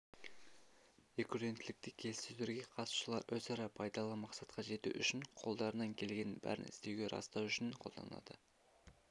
рекурренттілікті келіссөздерге қатысушылар өзара пайдалы мақсатқа жету үшін қолдарынан келгеннің бәрін істеуді растау үшін қолданылады